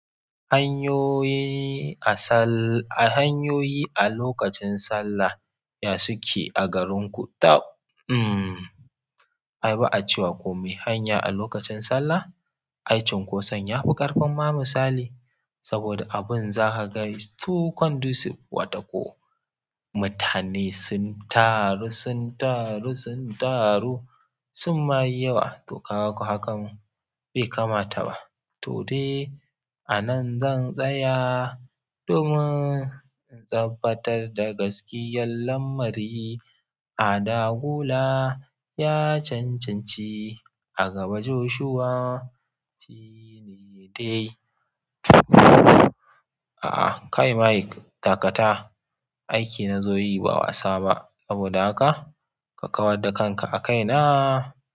Hanyoyi a sal a hanyoyi a lokacin sallah ya suke a garinku? Uhm, ai ba a cewa komai hanya a lokacin sallah ai cunkoson ya fi ƙarfin ma musali saboda abin za ka sa is too condusive watako. Mutane sun taru, sun taru, sun taru sun ma yi yawa. To ka ga ko hakan bai kamata ba. To dai a nan zan tsaya domin zan futar da gaskiyar lamari a dagula ya cancanci a gaba Joshuwa shine dai. A kai Mike, dakata. Aiki na zo yi ba wasa ba. Saboda haka ka kawar da kanka a kaina.